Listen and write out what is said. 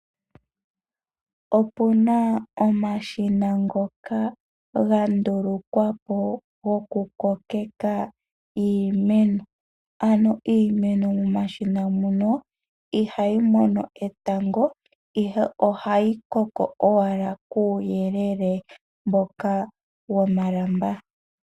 Opuna omashina ngoka ga ndulukwapo goku kokeka iimeno. Iimeno momashina mono ihayi mono etango ihe ohayi koko owala kuuyelele mboka womalamba.